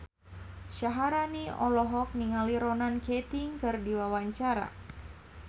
Syaharani olohok ningali Ronan Keating keur diwawancara